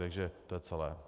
Takže to je celé.